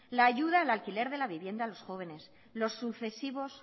la ayuda del alquiler de la vivienda a los jóvenes los sucesivos